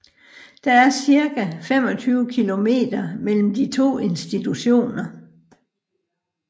Der er cirka 25 kilometer mellem de to institutioner